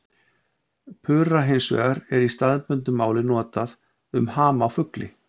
Pura hins vegar er í staðbundnu máli notað um ham á fugli.